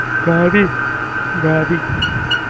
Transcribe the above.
તમે ભી? ગાર ભી?